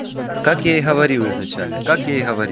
как я и говорил изначально как я и говорил